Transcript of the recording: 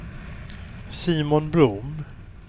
Simon Blom